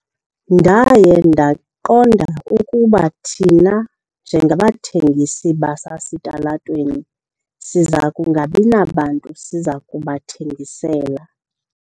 Ndaye ndaqonda ukuba thina njengabathengisi basesitalatweni siza kungabi nabantu siza kubathengisela.